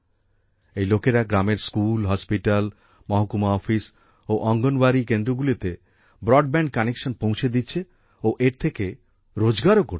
এই লোকেরা গ্রামের স্কুল হসপিটাল মহকুমা অফিস ও অঙ্গনবাড়ি কেন্দ্রগুলিতে ব্রডব্যান্ড কানেকশন পৌঁছে দিচ্ছে ও এর থেকে রোজগারও করছেন